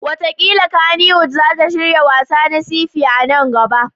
Wataƙila Kannywood za ta shirya wassa na sci-fi a nan gaba.